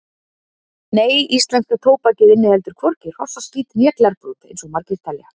Nei, íslenska tóbakið inniheldur hvorki hrossaskít né glerbrot eins og margir telja.